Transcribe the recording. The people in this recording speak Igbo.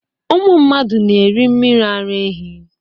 Ụmụ mmadụ na-eri mmiri ara ehi.